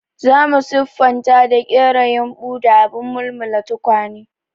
Za mu siffata da ƙera yumbu da abin mulmula tukwane.